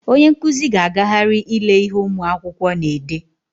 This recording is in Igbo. Onye nkụzi ga-agagharị ile ihe ụmụ akwụkwọ na-ede.